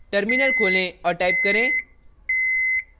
terminal खोलें और type करें